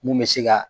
Mun bɛ se ka